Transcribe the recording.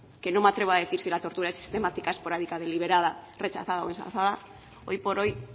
que no me atrevo a decir si la tortura es sistemática esporádica deliberada rechazada o ensalzada hoy por hoy